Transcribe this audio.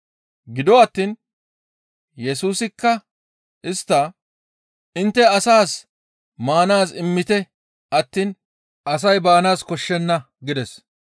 Gido attiin Yesusikka istta, «Intte asaas maanaaz immite attiin asay baanaas koshshenna» gides.